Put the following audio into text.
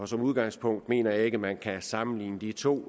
som udgangspunkt mener jeg ikke at man kan sammenligne de to